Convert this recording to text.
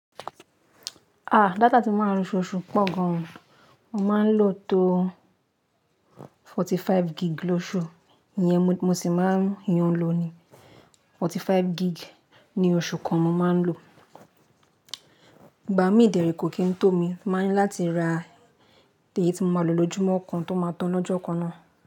À, data tí máa ń lo ṣu ṣu pọ̀ gan. Mo máa ń lò tó forty-five gig lóṣù. Iyẹn mo sì máa ń yo lo ni. Forty-five gig ni oṣù kan mo máa ń lò. Ìgbà mí dérè kò kí n tó mi, màá ni láti ra èyí tí mo máa lò lójúmọ́ kan tó máa tán lọ́jọ́ kan náà.